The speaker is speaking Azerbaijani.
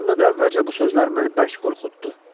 Yadımda da, əvvəlcə bu sözlər məni bərk qorxutdu.